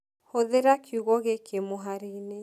Hũthĩra kiugo gĩkĩ mũhari-inĩ